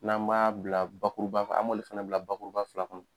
N'an m'a bila bakuruba an b'olu fɛnɛ bila bakuruba fila kɔnɔ